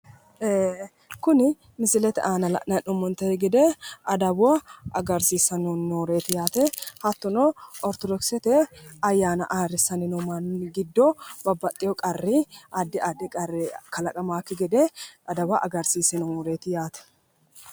Kuni misilete aana la'nanni hee'noommote gede adawa agarsiissanni nooreeti yaate hattono orittodokisete ayyaana ayyrsanni noo manni giddo babbaxxewo qarri addi addi qarri kalaqamannokki gede adawa agarsiisse nooreeti yaate.